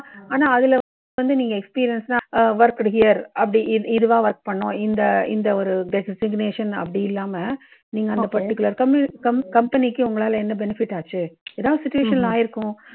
ஆனா அதுல வந்து நீங்க experience சா worked year அப்பிடி இதுவா work பண்ணனும். இந்த இந்த ஒரு designation அப்பிடி இல்லாமல், நீங்க அந்த particular company க்கு உங்களால என்ன benefit ஆச்சு, ஏதாவது situation ல ஆயிருக்கும்.